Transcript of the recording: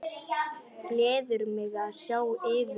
Gleður mig að sjá yður.